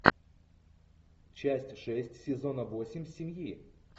часть шесть сезона восемь семьи